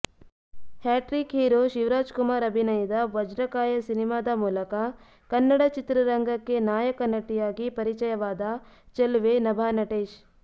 hat trick hero Shivarajkumar ಅಭಿನಯದ ವಜ್ರಕಾಯ ಸಿನಿಮಾದ ಮೂಲಕ ಕನ್ನಡ ಚಿತ್ರರಂಗಕ್ಕೆ ನಾಯಕ ನಟಿಯಾಗಿ ಪರಿಚಯವಾದ ಚೆಲುವೆ ನಭಾ ನಟೇಶ್